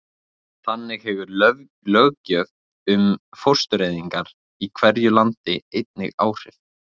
þannig hefur löggjöf um fóstureyðingar í hverju landi einnig áhrif